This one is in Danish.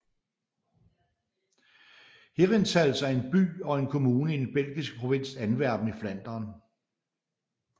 Herentals er en by og en kommune i den belgiske provins Antwerpen i Flandern